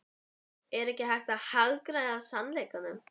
Er ég ekki að hagræða sannleikanum?